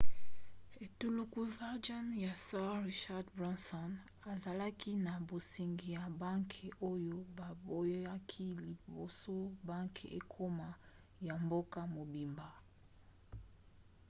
etuluku virgin ya sir richard branson azalaki na bosengi ya banke oyo baboyaki liboso banke ekoma ya mboka mobimba